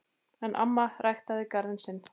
En amma ræktaði garðinn sinn.